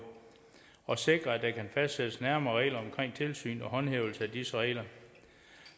og sikre at der kan fastsættes nærmere regler om tilsyn og håndhævelse af disse regler